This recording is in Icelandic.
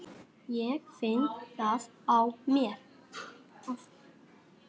Ég finn það á mér.